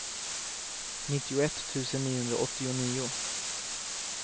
nittioett tusen niohundraåttionio